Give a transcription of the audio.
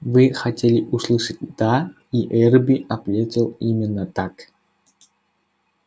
вы хотели услышать да и эрби ответил именно так